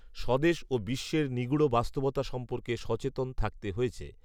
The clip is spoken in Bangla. স্বদেশ ও বিশ্বের নিগূঢ় বাস্তবতা সম্পর্কে সচেতন থাকতে হয়েছে